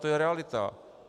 To je realita.